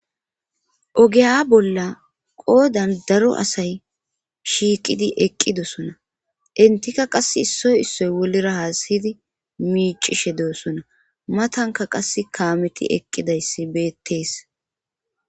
Ogeya bolla qoodan daro asay shiiqidi eqqidosona entika qasse issoy issoy wolira hasa7idi miicishe deossona matanka qas kaameti eqqidayssi beettees.